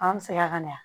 An segira kana